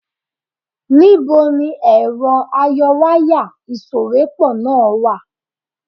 Níbo ni ẹ̀rọ ayọwáyà ìsòwépọ̀ náà wà?